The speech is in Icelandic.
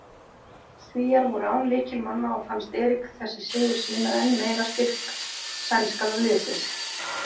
Svíar voru án lykilmanna og fannst Erik þessi sigur sýna enn meira styrk sænska liðsins.